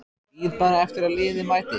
Bíð bara eftir að liðið mæti.